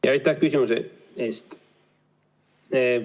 Aitäh küsimuse eest!